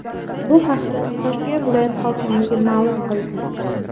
Bu haqda Toshkent viloyat hokimligi ma’lum qildi .